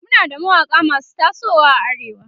Muna da mawaƙa masu tasowa a arewa